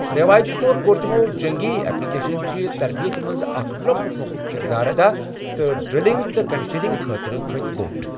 ریوایتی طور، کوٚر تِمو جٔنگی اٮ۪پلِکیشن چہِ تربیت منٛز اکھ لۅکُٹ مۅکُٹ کردار ادا تہٕ ڈرلنگ تہٕ کنڈیشننگ خٲطرٕ کھٔتۍ بوٚٹھ۔